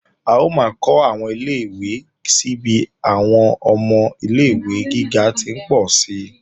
A ó máa kó àwọn ilé-ìwé si bí àwọn ọmọ ilé-ìwé gíga ti ń pọ̀ si